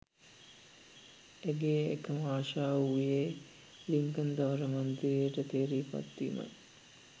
ඇගේ එකම ආශාව වූයේ ලින්කන් ධවල මන්දිරයට තේරී පත්වීමයි.